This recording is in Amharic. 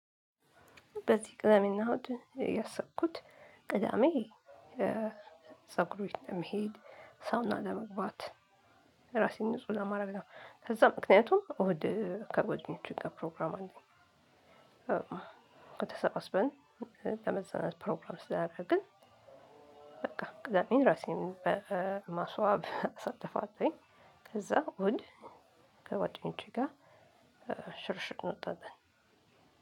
በዚህ ቅዳሜና እሁድ ያሰብኩት ቅዳሜ የፀጉር ቤት ለመሄድ፣ ሳውና ለመግባት ራሴን ንጹህ ለማድረግ ነው። ከዛ ምክንያቱም እሁድ ከጓደኞቸ ጋር ፕሮግራም አለኝ። ከዛ በቃ ተሰባስበን ለመዝናናት ፕሮግራም ስላደረግን በቃ ቅዳሜን ራሴን በማስዋብ አሳልፋለሁኝ። ከዛ እሁድ ከጓደኞቸ ጋር ሽርሽር እንወጣለን።